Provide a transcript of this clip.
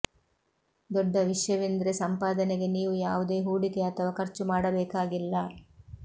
ದೊಡ್ಡ ವಿಷ್ಯವೆಂದ್ರೆ ಸಂಪಾದನೆಗೆ ನೀವು ಯಾವುದೇ ಹೂಡಿಕೆ ಅಥವಾ ಖರ್ಚು ಮಾಡಬೇಕಾಗಿಲ್ಲ